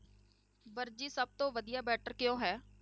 ਵਰਜੀ ਸਭ ਤੋਂ ਵਧੀਆ better ਕਿਉਂ ਹੈ?